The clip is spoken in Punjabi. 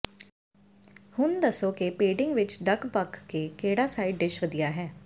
ਹੁਣ ਦੱਸੋ ਕਿ ਪੇਡਿੰਗ ਵਿਚ ਡਕ ਬਕ ਦੇ ਕਿਹੜਾ ਸਾਈਡ ਡਿਸ਼ ਵਧੀਆ ਹੈ